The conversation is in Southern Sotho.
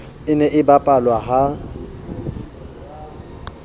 e ne e bapalwa ha